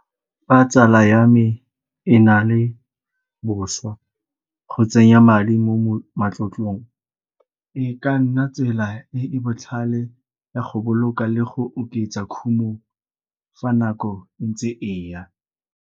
Fa tsala ya me e na le boswa, go tsenya madi mo matlotlong e ka nna tsela e e botlhale ya go boloka le go oketsa khumo fa nako e ntse e ya.